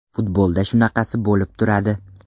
Futbolda shunaqasi bo‘lib turadi.